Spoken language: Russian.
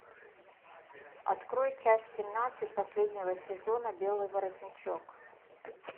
открой часть семнадцать последнего сезона белый воротничок